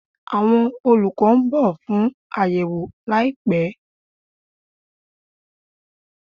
Awọn olukọ n bọ fun ayewo laipẹ